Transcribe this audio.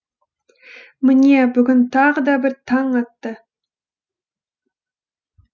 міне бүгін тағы да бір таң атты